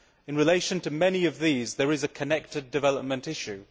In relation to many of these there is a connected development issue.